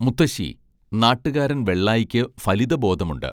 മുത്തശ്ശീ നാട്ടുകാരൻ വെള്ളായിക്ക് ഫലിതബോധമുണ്ട്